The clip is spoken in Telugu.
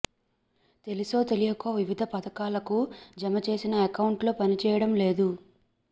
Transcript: తెలిసో తెలియకో వివిధ పథకాలకు జమ చేసిన అకౌంట్లు పనిచేయడం లేదు